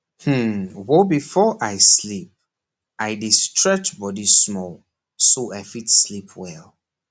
hmm wobefore i sleep i dey stretch body small so i fit sleep well